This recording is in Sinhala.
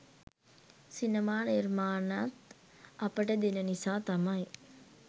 සිනමා නිර්මාණත් අපට දෙන නිසා තමයි